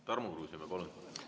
Tarmo Kruusimäe, palun!